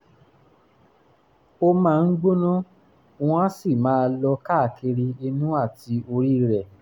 ó máa ń gbóná wọ́n á sì máa lọ káàkiri inú àti orí rẹ̀